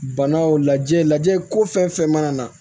Banaw lajɛ lajɛ ko fɛn fɛn mana na